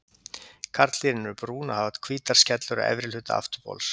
Karldýrin eru brún og hafa hvítar skellur á efri hluta afturbols.